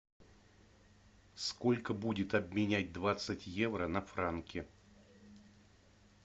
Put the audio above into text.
сколько будет обменять двадцать евро на франки